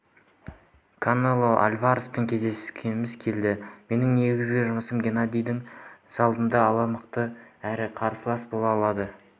канело альвареспен кездескіміз келеді менің негізгі жұмысым геннадийге алдын ала мықты әрі қарсылас бола алады